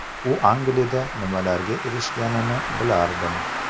U Angliyada nimalarga erishganini bilardim.